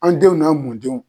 An denw n'a mɔndenw.